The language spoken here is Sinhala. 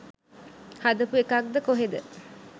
හදපු එකක්ද කොහෙද.